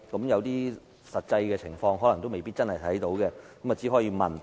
一些實際情況可能未必得見，我們只可以發問。